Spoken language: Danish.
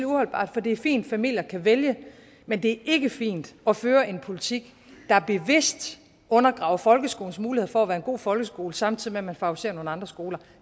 uholdbart for det er fint at familier kan vælge men det er ikke fint at føre en politik der bevidst undergraver folkeskolens muligheder for at være en god folkeskole samtidig med at man favoriserer nogle andre skoler og